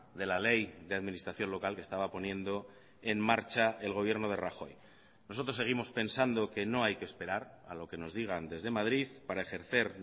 de la ley de administración local que estaba poniendo en marcha el gobierno de rajoy nosotros seguimos pensando que no hay que esperar a lo que nos digan desde madrid para ejercer